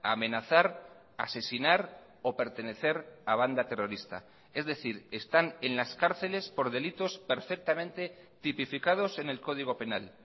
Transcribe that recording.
amenazar asesinar o pertenecer a banda terrorista es decir están en las cárceles por delitos perfectamente tipificados en el código penal